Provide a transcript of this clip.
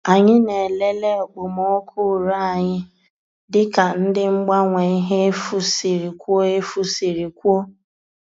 Anyị na-elele okpomọkụ ure anyị dịka ndị mgbanwe ihe efu siri kwuo efu siri kwuo